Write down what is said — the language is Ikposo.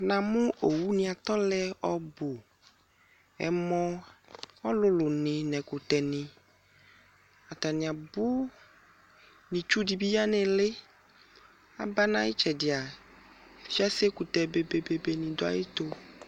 namʋ owʋni atɔlɛ ɔbʋʋ ɛmɔ ɔlʋlʋni nɛkʋtɛ ni ataniabʋ nitsʋdibi ya nilii aba na iyitsɛdia fiase kʋtɛ bebee ɖʋɛtʋ